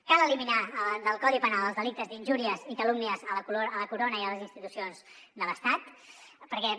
cal eliminar del codi penal els delictes d’injúries i calúmnies a la corona i a les institucions de l’estat perquè